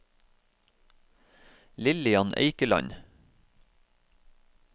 Lillian Eikeland